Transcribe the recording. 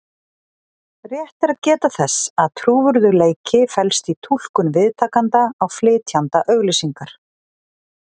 Rétt er að geta þess að trúverðugleiki felst í túlkun viðtakanda á flytjanda auglýsingar.